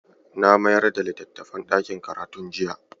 Na mayar da littafin ɗakin karatun jiya.